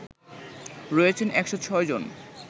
রয়েছেন ১০৬ জন